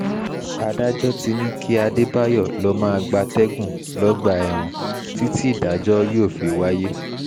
adájọ́ ti ní kí adébáyò lọ́ọ́ máa gbatẹ́gùn lọ́gbà ẹ̀wọ̀n títí ìdájọ́ yóò fi wáyé